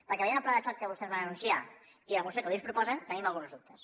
perquè veient el pla de xoc que vostès van anunciar i la moció que avui ens pro·posen tenim alguns dubtes